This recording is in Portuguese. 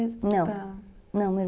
Não, meu irmão